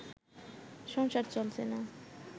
সংসার চলছে না